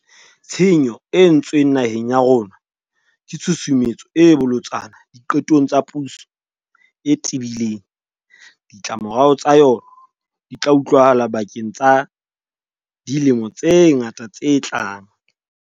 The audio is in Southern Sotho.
Tshenyo e entswe ng naheng ya rona ke tshusumetso e bolotsana diqetong tsa puso e tebi leng. Ditlamorao tsa yona di tla utlwahala bakeng sa dilemo tse ngata tse tlang.